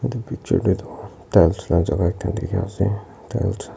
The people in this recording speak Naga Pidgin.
etu picture tho tiles la jaka ekta tiki ase tiles .